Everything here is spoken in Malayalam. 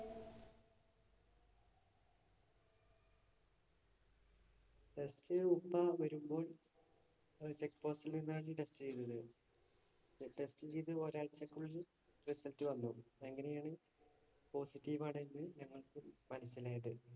Test ഉപ്പ വരുമ്പോൾ check post ല്‍ നിന്നാണ് test ചെയ്തത്. Test ഒരാഴ്ചക്കുള്ളിൽ result വന്നു. അങ്ങനെയാണ് positive ആണെന്ന് ഞങ്ങള്‍ക്ക് മനസിലായത്.